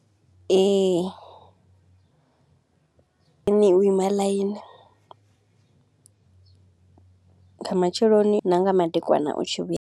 Ee, a ne u ima ḽaini, nga matsheloni na nga madekwana u tshi vhuya.